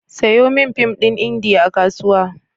Sayo min fim ɗin Indiya a Kasuwa.